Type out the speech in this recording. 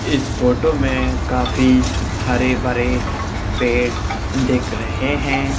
इस फोटो में काफी हरे भरे पेड देख रहे है।